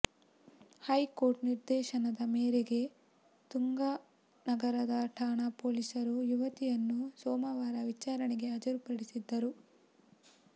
high court ನಿರ್ದೇಶನದ ಮೇರೆಗೆ ತುಂಗಾ ನಗರ ಠಾಣಾ ಪೊಲೀಸರು ಯುವತಿಯನ್ನು ಸೋಮವಾರ ವಿಚಾರಣೆಗೆ ಹಾಜರುಪಡಿಸಿದ್ದರು